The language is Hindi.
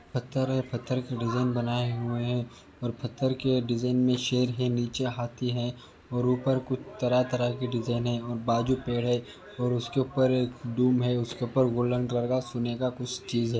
पत्थर है पत्थर की डिजाईन बनाए हुए है और पत्थर के डिजाईन में शेर है नीचे हाथी है और ऊपर कुछ तरह तरह के डिजाईन और बाजु पेड़ और उसके ऊपर दुम है उसके ऊपर गोल्डन कलर का सोने का कुछ चीज़ है।